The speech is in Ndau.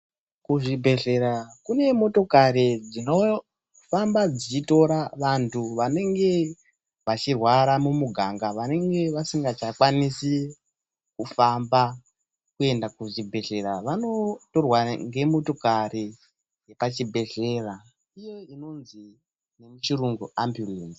Kuzvibhedhlera kune motokari dzinofamba dzichitora vantu vanenge vachirwara mumuganga vanenge vasingakwanisi kufamba kuenda kuzvibhedhlera vanotorwa ngemotokari pachibhedhlera iyo inonzi nemuchirungu ambiyulenzi